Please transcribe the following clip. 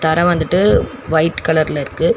தர வந்துட்டு ஒயிட் கலர்ல இருக்கு.